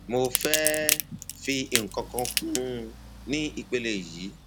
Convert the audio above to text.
mo fẹ fi nǹkan kan kún un ní ìpele yìí